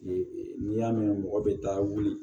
N'i y'a mɛn mɔgɔ bɛ da wuli